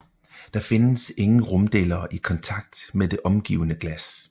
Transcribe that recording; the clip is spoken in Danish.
Der findes ingen rumdelere i kontakt med det omgivende glas